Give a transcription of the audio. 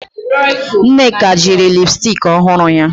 Nneka jiri lipsticki ọhụrụ ya